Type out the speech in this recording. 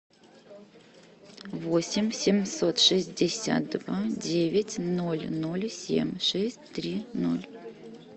восемь семьсот шестьдесят два девять ноль ноль семь шесть три ноль